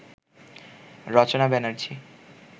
Rachana Banerjee